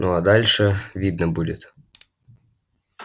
ну а дальше видно будет